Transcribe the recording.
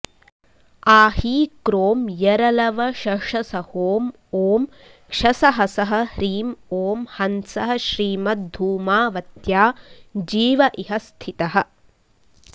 आहीक्रों यरलवशषसहों ॐ क्षसहसः ह्रीं ॐ हंसः श्रीमद्धूमावत्या जीव इह स्थितः